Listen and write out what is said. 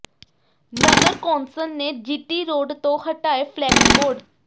ਨਗਰ council ਨੇ GT road ਤੋਂ ਹਟਾਏ ਫਲੈਕਸ ਬੋਰਡ